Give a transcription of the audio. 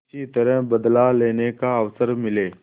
किसी तरह बदला लेने का अवसर मिले